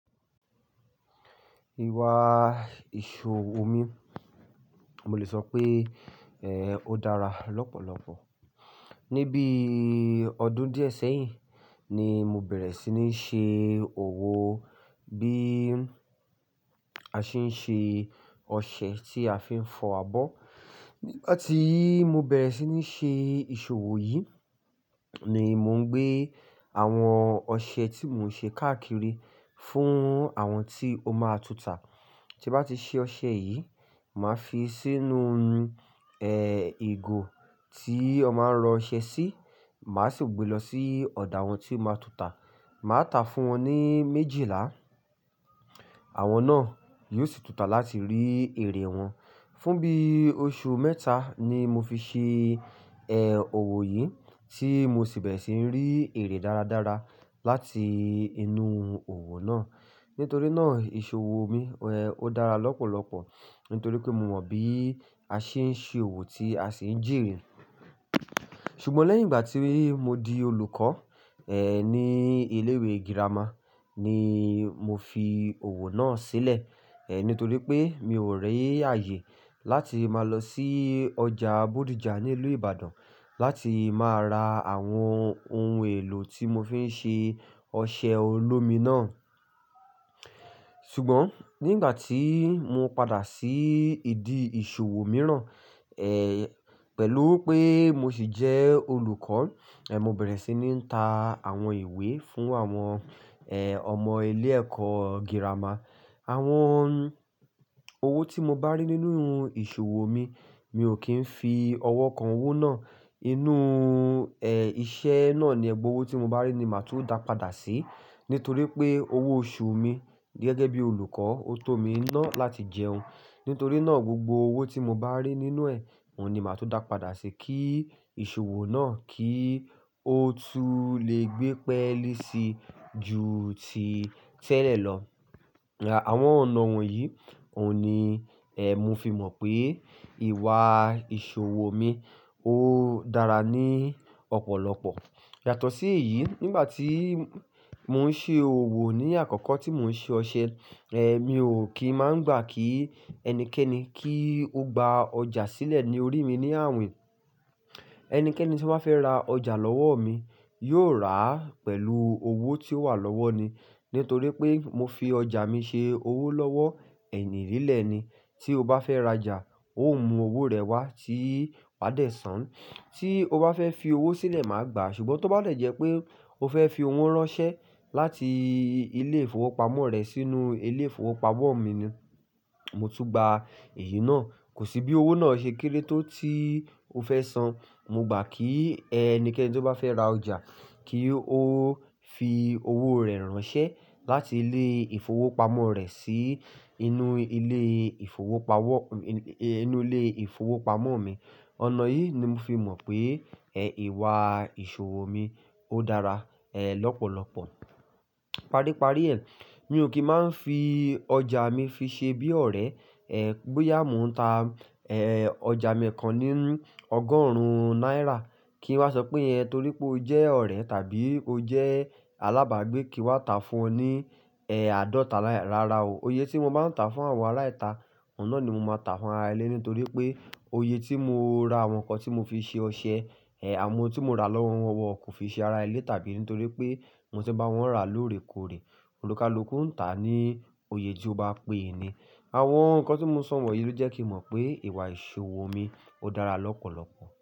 Ìwà ìṣòwò mi, mo lè sọ pé, ẹ́, ó dára lọ́pọ̀lọpọ̀. Ni bí ọdún díẹ̀ sẹ́yìn ni mo bẹ̀rẹ̀ sí ní ṣe òwò bí a ṣe ń ṣe ọṣẹ tí a fi ń fọ abọ́. Nígbàtí mo bẹ̀rẹ̀ sí ní ṣe ìṣòwò yìí ni mò ń gbé àwọn ọṣẹ tí mò ń ṣe káàkiri fún àwọn tí ó máa túta. Tí bá ti ṣe ọṣẹ yìí, màá fi sínú ohun, ẹ́, ìgò tí ọ máa ń rọ ọṣẹ sí, màá sì gbé lọ sí ọ̀dò àwọn tí ó máa túta. Màá ta fún wọn ní méjìlá, àwọn náà yóò sì túta láti rí èrè wọn. Fún bí oṣù mẹ́ta ni mo fi ṣe, ẹ́, òwò yìí tí mo sì bẹ̀rẹ̀ sí ní rí èrè dáradára láti inú òwò náà. Nítorí náà ìṣòwò mi, ẹ́, ó dára lọ́pọ̀lọpọ̀ nítorí pé mo mọ̀ bí a ṣe ń ṣe òwò tí a sì ń jèrè. Ṣùgbọ́n lẹ́yìn ìgbà tí mo di olùkọ́, ẹ́, ní ilé ìwé girama ni mo fi òwò náà sílẹ̀. Ẹ̀, nítorí pé mi ò rí ààyè láti máa lọ sí ọjà Bodija ní ìlú Ibadan láti máa ra àwọn ohun èlò tí mo fi ń ṣe ọṣẹ olómi náà. Ṣùgbọ́n nígbà tí mo padà sí ìdí ìṣòwò mìíràn, ẹ́, pẹ̀lú pé mo sì jẹ́ olùkọ́, ẹ́, mo bẹ̀rẹ̀ sí ní ń ta àwọn ìwé fún àwọn, ẹ́, ọmọ ilé ẹ̀kọ́ girama. Àwọn owó tí mo bá rí nínú ìṣòwò mi, mi ò kí ń fi ọwọ́ kan owó náà. Inú, ẹ́, iṣẹ́ náà ni ẹgbọwó tí mo bá rí ni màá tún dá padà sí. Nítorí pé owó oṣù mi gẹ́gẹ́ bí olùkọ́, ó tó mi iná láti jẹun. Nítorí náà gbogbo owó tí mo bá rí nínú ẹ, òun ni màá tún dá padà sí kí ìṣòwò náà kí ó tún lè gbé pẹ́élí sí ju ti tẹ́lẹ̀ lọ. Àwọn ọ̀nà wọ̀nyí, òun ni, ẹ́, mo fi mọ̀ pé ìwà ìṣòwò mi ó dára ní ọ̀pọ̀lọpọ̀. Yàtọ̀ sí èyí, nígbà tí mò ń ṣe òwò ní àkọ́kọ́ tí mò ń ṣe ọṣẹ, ẹ́, mi ò kí máa ń gbà kí ẹnikẹ́ni kí ó gba ọjà sílẹ̀ ní orí mi ní àwìn. Ẹnikẹ́ni tí ó fẹ́ ra ọjà lọ́wọ́ mi yóò rà á pẹ̀lú owó tí ó wà lọ́wọ́ ni. Nítorí pé mo fi ọjà mi ṣe owó lọ́wọ́, ẹyìn nílẹ̀ ni. Tí o bá fẹ́ ra'jà, o máa mú owó rẹ wá tí wa dẹ̀ san. Tí o bá fẹ́ fi owó sílẹ̀, màá gbà á. Ṣùgbọ́n tó bá dé jẹ́ pé o fẹ́ fi owó ránṣẹ́ láti ilé ìfowópamọ́ rẹ sínú ilé ìfowópamọ́ mi ni, mo tún gba èyí náà. Kò sí bí owó náà ṣe kéré tó tí o fẹ́ san. Mo gbà kí ẹnikẹ́ni tí ó bá fẹ́ ra ọjà kí ó fi owó rẹ̀ ránṣẹ́ láti ilé ìfowópamọ́ rẹ̀ sí inú ilé ìfowópamọ́, inú ilé ìfowópamọ́ mi. Ọ̀nà yìí ni mo fi mọ̀ pé, ẹ́, ìwà ìṣòwò mi ó dára, ẹ́, lọ́pọ̀lọpọ̀. Paríparí ẹ, mi ò kí máa ń fi ọjà mi fi ṣe bí ọ̀rẹ́. Ẹ̀, bóyá mò ń ta, ẹ́, ọjà miìkan ní ọgọ́rùn-ún náírà kí n wá sọ pé, "Ẹ torí pé o jẹ́ ọ̀rẹ́ tàbí o jẹ́ alábàágbé kí wá ta fún ọ ní, ẹ́, àádọ́ta náírà." Rárá o. Oyè tí mo bá ń ta fún àwọn ará ìta, oun nà ni mo máa ta fún ará ilé nítorí pé oyè tí mo ra àwọn nǹkan tí mo fi ṣe ọṣẹ, ẹ́, àwọn tí mo rà lọ́wọ́ wọn kò fi ṣe ará ilé tàbí nítorí pé mo ti n bá wọn rà lóòrèkóòrè. Olúkálukú ń tà á ní oyè tí ó bá pé ni. Àwọn nǹkan tí mo sọ̀ wònyìí ló jẹ́ kí n mọ̀ pé ìwà ìṣòwò mi ó dára lọ́pọ̀lọpọ̀.